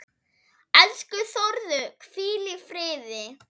Elsku Þórður, hvíl í friði.